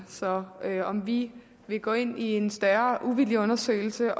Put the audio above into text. så om vi vil gå ind i en større uvildig undersøgelse af